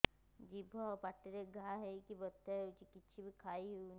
ଜିଭ ଆଉ ପାଟିରେ ଘା ହେଇକି ବଥା ହେଉଛି କିଛି ବି ଖାଇହଉନି